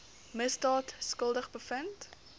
misdaad skuldig bevind